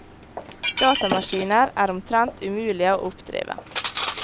Datamaskiner er omtrent umulige å oppdrive.